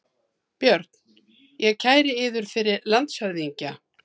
BJÖRN: Ég kæri yður fyrir landshöfðingja.